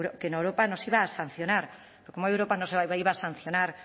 que europa nos iba a sancionar pero cómo que europa nos iba a sancionar